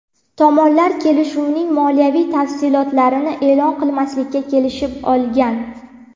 Tomonlar kelishuvning moliyaviy tafsilotlarini e’lon qilmaslikka kelishib olgan.